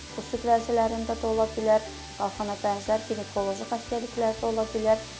Bu süd vəzlərində də ola bilər, qalxana bənzər, ginekoloji xəstəliklərdə də ola bilər.